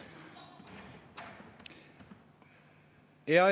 Aitäh!